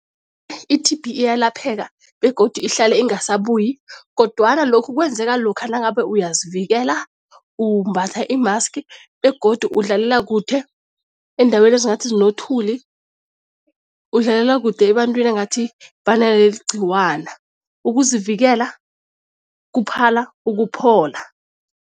I-T_B iyalapheka begodu ihlale ingasabuyi kodwana lokhu kwenzeka lokha nangabe uyazivikela, umbatha i-mask begodu udlalela kude eendaweni ezingathi zinothuli, udlalela kude ebantwini engathi banaleli ligcikwane. Ukuzivikela kuphala ukuphola.